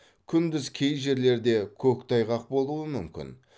күндіз кей жерлерде көктайғақ болуы мүмкін